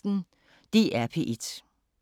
DR P1